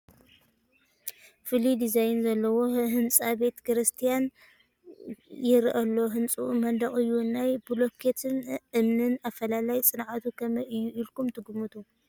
ፍሉይ ዲዛይን ዘለዎ ህንፃ ቤተ ክርስቲያን ይርአ ኣሎ፡፡ ህንፅኡ መንደቕ እዩ፡፡ ናይ ብሎኬትን እምንን ኣፈላላይ ፅንዓቱ ከመይ እዩ ኢልኩም ትግምቱ?